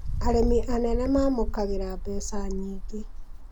Arĩmi anene mamũkagĩra mbeca nyingĩ